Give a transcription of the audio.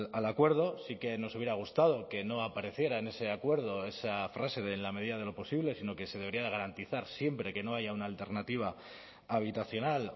al acuerdo sí que nos hubiera gustado que no apareciera en ese acuerdo esa frase de en la medida de lo posible sino que se debería de garantizar siempre que no haya una alternativa habitacional